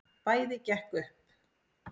Bæði gekk upp.